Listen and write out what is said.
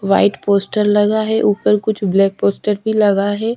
White poster लगा है ऊपर कुछ ब्लैक पोस्टर भी लगा है।